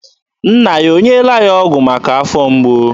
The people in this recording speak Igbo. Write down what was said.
Nna ya o nyeela ya ọgụ maka afọ mgbu ya?